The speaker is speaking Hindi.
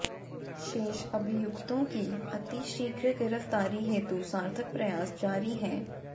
शेष अभियुक्तों की अतिशीघ्र गिरफ्तारी हेतु सार्थक प्रयास जारी हैं